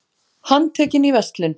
Handtekinn í verslun